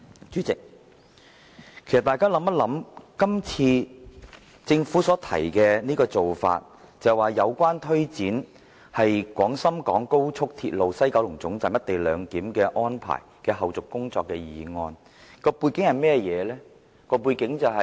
主席，大家想想，政府今次所提出的做法，是關於"有關推展廣深港高速鐵路西九龍站'一地兩檢'安排的後續工作的議案"，而背景關於甚麼呢？